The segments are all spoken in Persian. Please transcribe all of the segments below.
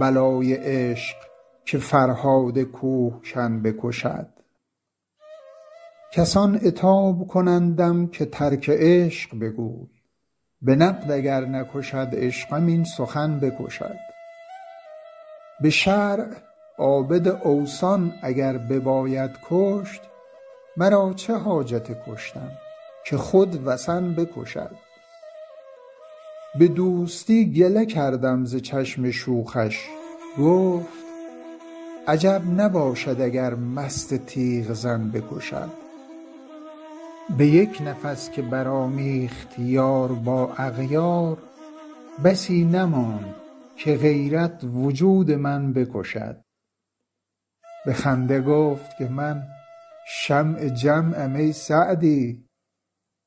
بلای عشق که فرهاد کوهکن بکشد کسان عتاب کنندم که ترک عشق بگوی به نقد اگر نکشد عشقم این سخن بکشد به شرع عابد اوثان اگر بباید کشت مرا چه حاجت کشتن که خود وثن بکشد به دوستی گله کردم ز چشم شوخش گفت عجب نباشد اگر مست تیغ زن بکشد به یک نفس که برآمیخت یار با اغیار بسی نماند که غیرت وجود من بکشد به خنده گفت که من شمع جمعم ای سعدی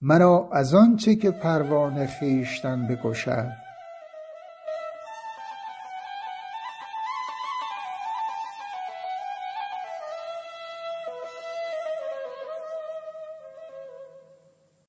مرا از آن چه که پروانه خویشتن بکشد